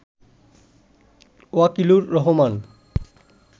Wakilur Rahman